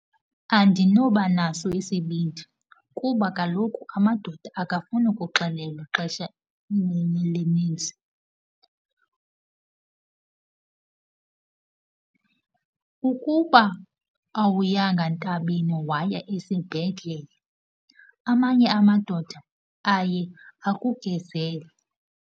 Andinobanaso isibindi kuba kaloku amadoda awafuni kuxelelwa ixesha elininzi. Ukuba awuyanga ntabeni waya esibhedlele, amanye amadoda aye akugezele.